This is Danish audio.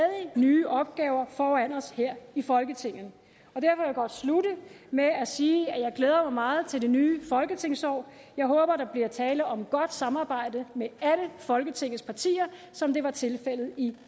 nye opgaver foran os her i folketinget og jeg godt slutte med at sige at jeg glæder mig meget til det nye folketingsår jeg håber at der bliver tale om et godt samarbejde med alle folketingets partier som det var tilfældet i